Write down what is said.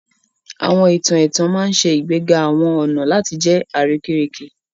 Àwọn ìtàn ẹ̀tàn ma n ṣe ìgbéga àwọn ọna láti jẹ àrékérekè